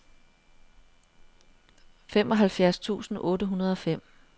femoghalvfjerds tusind otte hundrede og fem